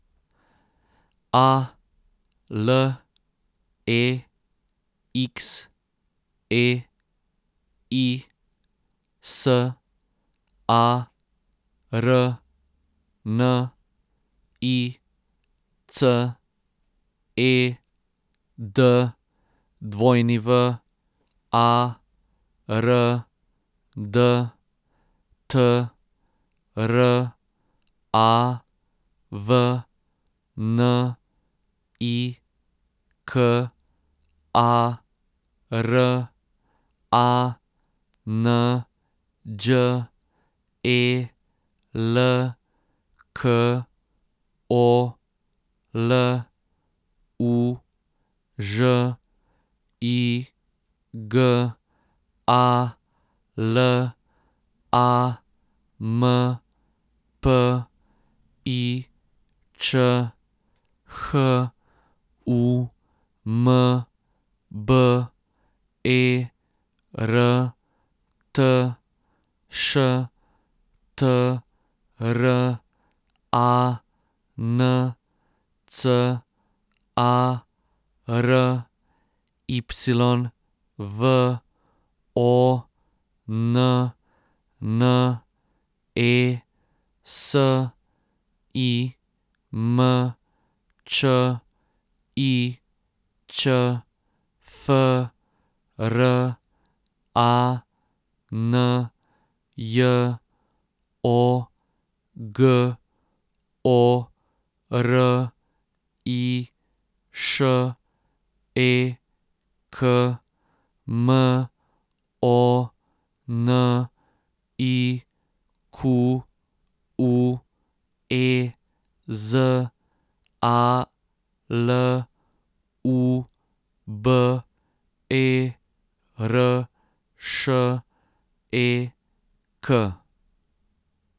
A L E X E I, S A R N I C; E D W A R D, T R A V N I K A R; A N Đ E L K O, L U; Ž I G A, L A M P I Č; H U M B E R T, Š T R A N C A R; Y V O N N E, S I M Č I Ć; F R A N J O, G O R I Š E K; M O N I Q U E, Z A L U B E R Š E K.